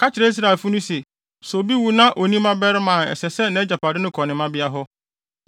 “Ka kyerɛ Israelfo no se sɛ obi wu na onni mmabarima a ɛsɛ sɛ nʼagyapade kɔ ne mmabea hɔ.